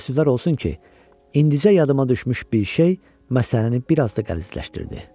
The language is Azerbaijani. Təəssüflər olsun ki, indicə yadıma düşmüş bir şey məsələni bir az da qəlizləşdirdi.